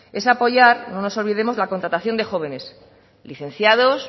es apoyar no nos olvidemos la contratación de jóvenes licenciados